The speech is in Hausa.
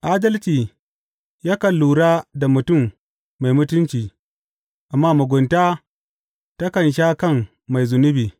Adalci yakan lura da mutum mai mutunci, amma mugunta takan sha kan mai zunubi.